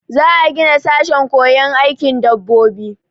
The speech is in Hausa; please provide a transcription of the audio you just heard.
Za a gina sashen koyon aikin dabbobi.